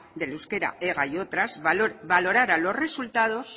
del euskera ega y otras valorara los resultados